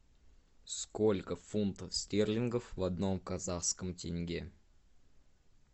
сколько фунтов стерлингов в одном казахском тенге